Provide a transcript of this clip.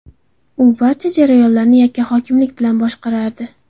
U barcha jarayonlarni yakkahokimlik bilan boshqarardi.